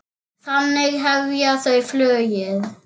Þannig hefja þau flugið.